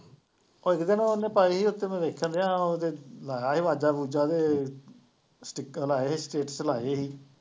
ਭਾਜੀ ਕਹਿੰਦੇ ਉਹਨੇ ਪਾਈ ਸੀ ਉੱਥੇ ਮੈਂ ਦੇਖਣ ਡਿਆਂ ਉਹਦੇ ਲਾਇਆ ਸੀ ਵਾਜਾ ਵੂਜਾ ਤੇ speaker ਲਾਏ ਸੀ status ਲਾਏ ਸੀ